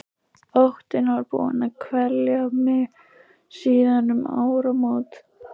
Óttinn var búinn að kvelja mig síðan um áramót.